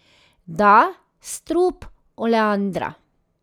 Da, strup oleandra.